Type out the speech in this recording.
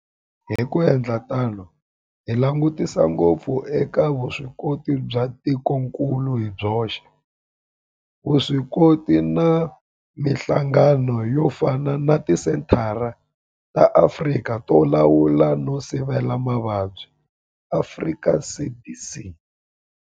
Hi ku endla tano hi langutisa ngopfu eka vuswikoti bya tikokulu hi byoxe, vuswikoti na mihlangano yo fana na Tisenthara ta Afrika to Lawula no Sivela Mavabyi Afrika CDC.